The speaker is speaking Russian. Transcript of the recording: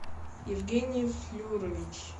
евгений флюрович